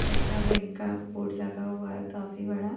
Canara bank का board लगा हुआ है काफी बड़ा।